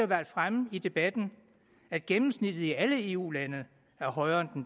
været fremme i debatten at gennemsnittet i alle eu lande er højere